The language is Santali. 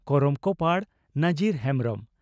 ᱠᱚᱨᱚᱢ ᱠᱚᱯᱟᱬ (ᱱᱟᱡᱤᱨ ᱦᱮᱢᱵᱽᱨᱚᱢ)